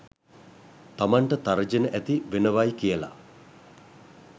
තමන්ට තර්ජන ඇති වෙනවයි කියල.